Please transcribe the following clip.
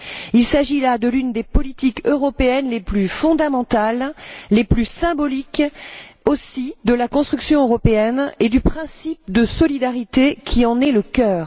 Il s'agit là de l'une des politiques européennes les plus fondamentales, les plus symboliques aussi, de la construction européenne et du principe de solidarité qui en est le cœur.